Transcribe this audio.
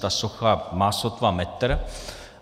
Ta socha má sotva metr.